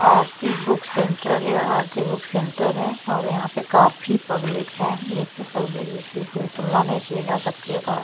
आरती book centre या Aarti book centre है और यहाँ पे काफी पब्लिक है इतनी पब्लिक की जिसकी कोई तुलना नहीं की जा सकती कहाँ --